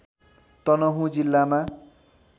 तनहुँ जिल्लामा